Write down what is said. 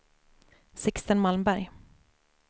Sixten Malmberg